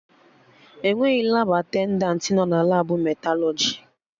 Enweghị Labụ atendantị nọ na Labụ metalọjị